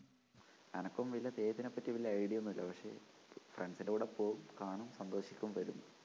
എനക്കും വല്യ തെയ്യത്തിനെപ്പറ്റി വല്യ idea ഒന്നൂല്ല പക്ഷേ friends ൻ്റെ കൂടെ പോവും കാണും സന്തോഷിക്കും വരും.